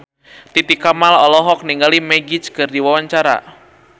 Titi Kamal olohok ningali Magic keur diwawancara